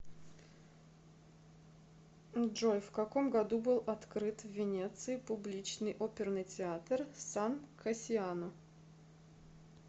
джой в каком году был открыт в венеции публичный оперный театр сан кассиано